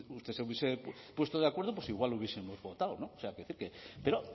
usted se hubiese puesto de acuerdo pues igual hubiesemos votado no pero